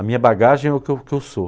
A minha bagagem é o que eu que eu sou.